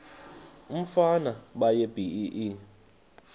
umfana baye bee